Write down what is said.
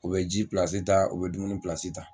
U bɛ ji pilasi ta u bɛ dumuni pilasi ta.